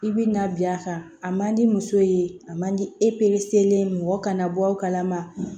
I bɛ na bi a kan a man di muso ye a man di mɔgɔ kana bɔ aw kalama